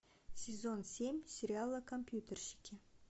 сезон семь сериала компьютерщики